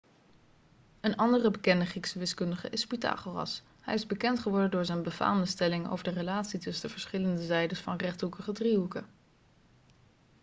een andere bekende griekse wiskundige is pythagoras hij is bekend geworden door zijn befaamde stelling over de relatie tussen de verschillende zijdes van rechthoekige driehoeken